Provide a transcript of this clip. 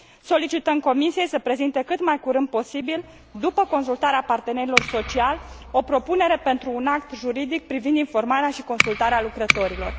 Solicităm Comisiei să prezinte cât mai curând posibil, după consultarea partenerilor sociali, o propunere pentru un act juridic privind informarea și consultarea lucrătorilor.